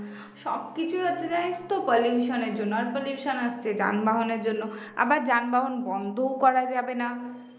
সবকিছু হচ্ছে তাই pollution এর জন্য আর pollution আসছে যানবাহন এর জন্য আবার যানবাহন বন্ধও করা যাবে না